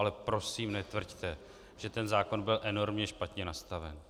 Ale prosím netvrďte, že ten zákon byl enormně špatně nastaven.